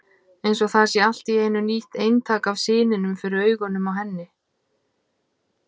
Eins og það sé allt í einu nýtt eintak af syninum fyrir augunum á henni.